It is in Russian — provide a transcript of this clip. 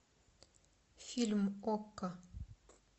фильм окко